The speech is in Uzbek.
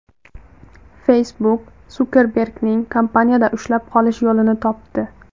Facebook Sukerbergni kompaniyada ushlab qolish yo‘lini topdi.